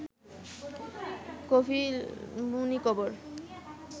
কপিলমুনি খবর